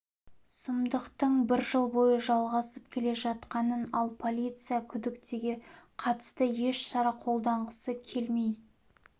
сұмдықтың бір жыл бойы жылғасып келе жатқанын ал полиция күдіктіге қатысты еш шара қолданғысы келмей